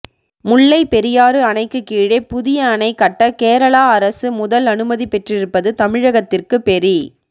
முல்லை பெரியாறு அணைக்கு கீழே புதிய அணை கட்ட கேரளா அரசு முதல் அனுமதி பெற்றிருப்பது தமிழகத்திற்கு பெரி